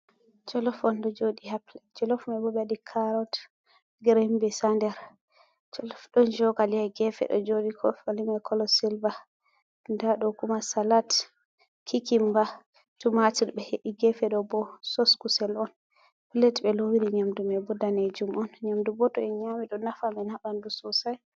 Jolof on ɗo jooɗi ha plet. Jolof mai bo ɓe waɗi carot, grin bins haa nder. Jolof ɗon cokali haa gefe ɗo jooɗi. Cokali mai kolo silva. Nda ɗo kuma salat, kikimba, tumatir ɓe he’i. Gefe ɗo bo sos kusel on, plet ɓe lowiri nyamdu mai bo daneejum on. Nyamdu bo to en nyami ɗo nafa men ha ɓandu sosai.